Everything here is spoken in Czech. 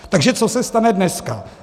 Takže co se stane dnes?